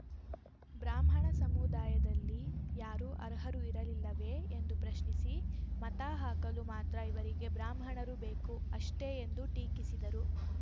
ಬ್ರಾಹ್ಮಣ ಸಮುದಾಯದಲ್ಲಿ ಯಾರೂ ಅರ್ಹರು ಇರಲಿಲ್ಲವೇ ಎಂದು ಪ್ರಶ್ನಿಸಿ ಮತ ಹಾಕಲು ಮಾತ್ರ ಇವರಿಗೆ ಬ್ರಾಹ್ಮಣರು ಬೇಕು ಅಷ್ಟೆಎಂದು ಟೀಕಿಸಿದರು